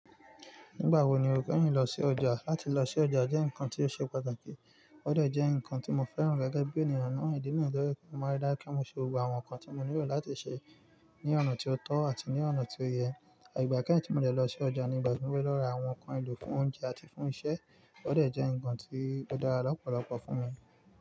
Nígbà wo ni un o lọ sí ọjà? Láti lọ sí ọjà jẹ́ ǹkan tí ó ṣe pàtàkì. Ó dà jẹ ǹkan tí mo fẹ́ràn, gẹ́gẹ́ bí ènìyàn náà. Ìdí náà jẹ́ wípé, ó máa ń dára kí n ṣe gbogbo àwọn nǹkan tí mo nílò láti ṣe ní ọ̀nà tí ó tọ́ àti ní ọ̀nà tí ó yẹ. Àìgbàkẹ́yìn tí mo dẹ̀ lọ sí ọjà ni ìgbà tí mo fẹ́ lọ ra àwọn ǹkan èlò fún oúnjẹ àti fún isẹ́. Ó dà jẹ ǹkan tí ó dára lọ́pọ̀lọpọ̀ fún mi.